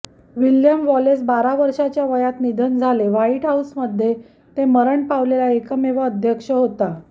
William Wallace बारा वर्षाच्या वयात निधन झाले व्हाईट हाऊसमध्ये ते मरण पावलेला एकमेव अध्यक्ष होता